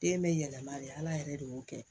Den bɛ yɛlɛma de ala yɛrɛ de y'o kɛ